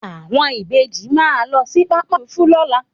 Àwọn Ìbejì máa lọ sí pápákọ̀ òfúrufú lọla